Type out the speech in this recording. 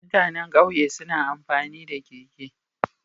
Mutanan ƙauye suna amfani da keke